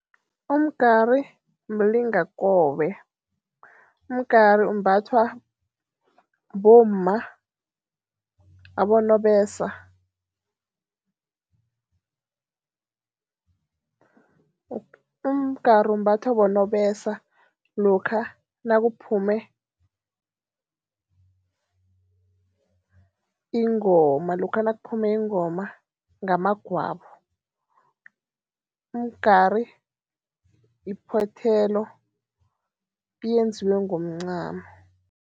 Umgari mlingakobe. Umgari umbathwa bomma, abonobesa. Umgari umbathwa bonobesa lokha nakuphume ingoma, lokha nakuphume ingoma ngamagwabo. Umgari yiphothelo, iyenziwe ngomncamo.